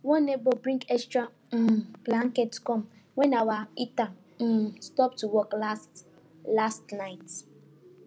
one neighbor bring extra um blankets come when our heater um stop to work last last night